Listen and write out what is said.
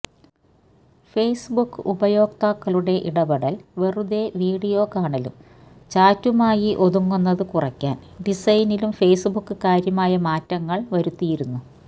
Facebook ഉപയോക്താക്കളുടെ ഇടപെടല് വെറുതെ വീഡിയോ കാണലും ചാറ്റുമായി ഒതുങ്ങുന്നത് കുറയ്ക്കാന് ഡിസൈനിലും ഫേയ്സ്ബുക്ക് കാര്യമായ മാറ്റങ്ങള് വരുത്തിയിരുന്നു